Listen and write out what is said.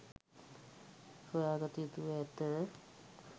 සොයාගත යුතුව ඇත